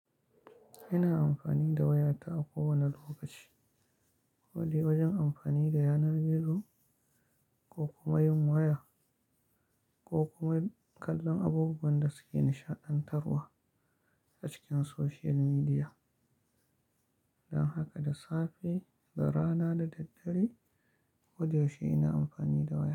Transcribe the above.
Ina amfani da wayata a kowane lokaci, ko dai wajen amfani da yanar gizo ko kuma yin waya ko kuma kallon abubuwan da suke nishaɗantarwa a cikin social media. Don haka da safe, da rana da daddare, kodayaushe ina amfani da waya.